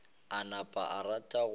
a napa a rata go